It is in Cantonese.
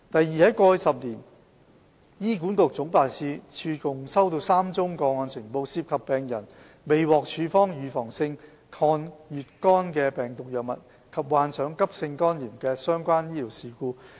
二在過去10年，醫管局總辦事處共收到3宗個案呈報，涉及病人未獲處方預防性抗乙肝病毒藥物及患上急性肝炎的相關醫療事故。